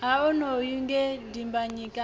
ha onoyu nge dimbanyika a